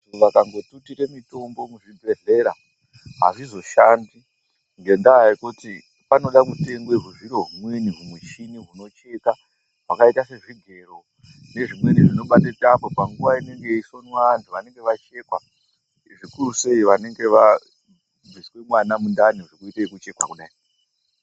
Vantu vakangotutire mitombo muzvibhedhlera hazvizoshandi ngendaa yekuti panoda mutengwa huzviro humweni humuchini hunocheka. Hwakaita sezvigero nezvimweni zvinobate tambo panguva inenge yeisonwa vantu vanenge vachichekwa zvikuru sei vanonga bviswe mwana mundani zvekuita vekuchekwa kudai.